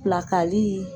Pilakali